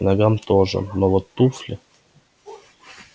к ногам тоже но вот туфли